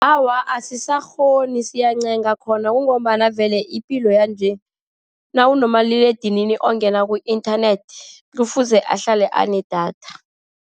Awa, asisakghoni siyancenga khona. Kungombana vele ipilo yanje nawunomaliledinini ongena ku-internet, kufuze ahlale anedatha.